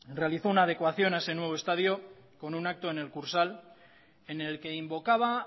realizó una adecuación a ese nuevo estadio con un acto en el kursaal en el que invocaba